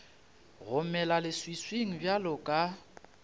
go mela leswiswing bjalo ka